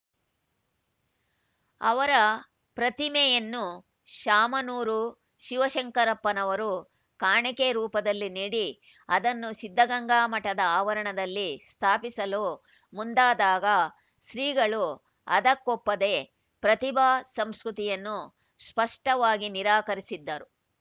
ಅವರ ಪ್ರತಿಮೆಯನ್ನು ಶಾಮನೂರು ಶಿವಶಂಕರಪ್ಪನವರು ಕಾಣಿಕೆ ರೂಪದಲ್ಲಿ ನೀಡಿ ಅದನ್ನು ಸಿದ್ದಗಂಗಾ ಮಠದ ಆವರಣದಲ್ಲಿ ಸ್ಥಾಪಿಸಲು ಮುಂದಾದಾಗ ಶ್ರೀಗಳು ಅದಕ್ಕೊಪ್ಪದೆ ಪ್ರತಿಮಾ ಸಂಸ್ಕೃತಿಯನ್ನು ಸ್ಪಷ್ಟವಾಗಿ ನಿರಾಕರಿಸಿದ್ದರು